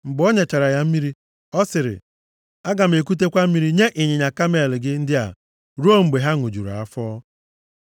Mgbe o nyechara ya mmiri, ọ sịrị, “Aga m ekutekwa mmiri nye ịnyịnya kamel gị ndị a ruo mgbe ha ṅụjuru afọ.”